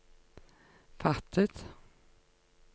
fattet